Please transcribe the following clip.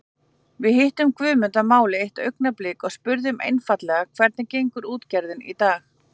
Við hittum Guðmund að máli eitt augnablik og spurðum einfaldlega hvernig gengur útgerðin í dag?